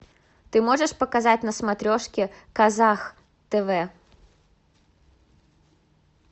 ты можешь показать на смотрешке казах тв